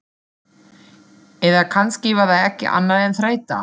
Eða kannski var það ekki annað en þreyta.